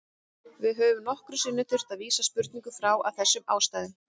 Við höfum nokkrum sinnum þurft að vísa spurningum frá af þessum ástæðum.